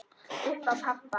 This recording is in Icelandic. Upp á pabba.